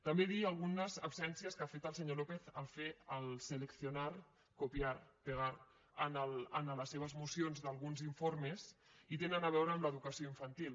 també dir algunes absències que ha fet el senyor lópez al fer el seleccionar copiar pegar en les seves mocions d’alguns informes i tenen a veure amb l’educació infantil